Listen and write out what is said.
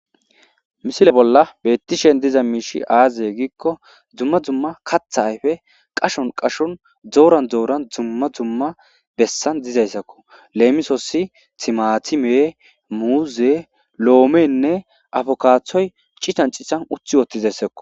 Misile bolla beettishen diza miishi aazee giikko dzumma dzumma katha ayfe qashon qashon dooran dooran dzumma dzumma bessan dizayssakko leemisossi timatime muuze loomenne afokaaththoy cican cihan uthi woottizayssakko.